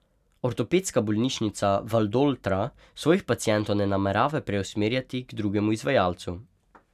Ortopedska bolnišnica Valdoltra svojih pacientov ne namerava preusmerjati k drugemu izvajalcu.